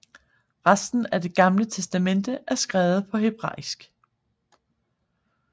Resten af Det Gamle Testamente er skrevet på hebraisk